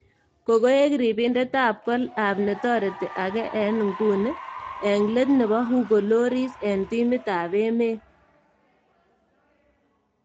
Kokoek ribindet ab kol ab netoreti age eng nguni eng let nebo Hugo Lloris eng timit ab emet.